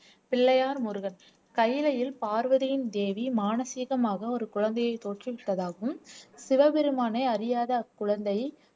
பிள்ளையார் முருகன் கைலையில் பார்வதியின் தேவி மானசீகமாக ஒரு குழந்தையை தோற்றுவித்ததாகவும் சிவபெருமானை அறியாத அக்குழந்தை